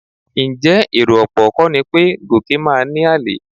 Ǹjẹ́ èrò ọ̀pọ̀ kọ́ ni pé Gòkè máa ní àlè?